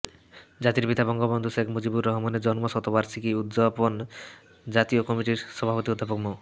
জাতির পিতা বঙ্গবন্ধু শেখ মুজিবুর রহমানের জন্মশতবার্ষিকী উদ্যাপন জাতীয় কমিটির সভাপতি অধ্যাপক মো